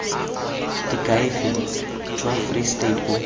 diakhaefe jwa free state bo